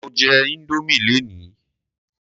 Mo jẹ Indomie lénìí.